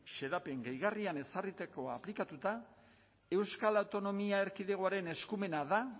xedapen gehigarrian ezarritako aplikatuta euskal autonomia erkidegoaren eskumena da